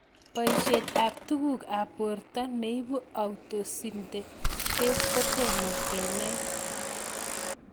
Poishet ab tuguk ab porto neipu authosynthetase kotomo kenai